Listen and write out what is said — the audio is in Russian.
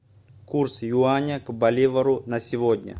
курс юаня к боливару на сегодня